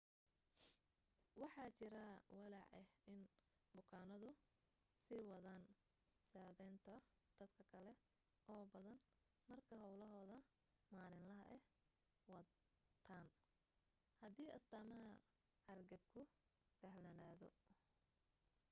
waxa jira walaac ah in bukaanadu sii wadan sadhaynta dad kale oo badan marka hawlahooda maalinlaha ah wataan hadii astaamaha hargabku sahlanaadaan